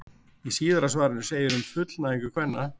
Í síðara svarinu segir um fullnægingu kvenna: